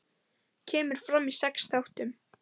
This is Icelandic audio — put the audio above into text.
Kemur fram í sex þáttum.